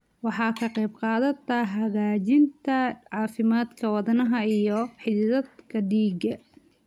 Waxay ka qaybqaadataa hagaajinta caafimaadka wadnaha iyo xididdada dhiigga.